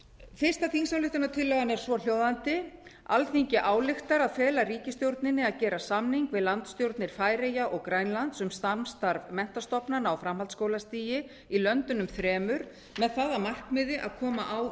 fyrsta þingsályktunartillagan er svohljóðandi alþingi ályktar að fela ríkisstjórninni að gera samning við landsstjórnir færeyja og grænlands um samstarf menntastofnana á framhaldsskólastigi í löndunum þremur með það að markmiði að koma á